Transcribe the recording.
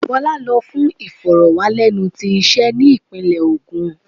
Bola lo fún ìforo-wanilenúwo tí ise ni ipinle ogun.